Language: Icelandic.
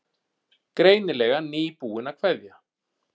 Greinilega nýbúin að kveðja.